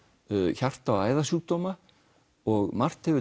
hjarta og æðasjúkdóma og margt hefur